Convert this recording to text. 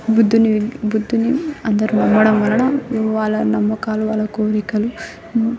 బుద్ధుని బుద్ధుని అందరు నమ్మడం వల్లనా వల్లా నమ్మకాలు వల్ల కోరికలు --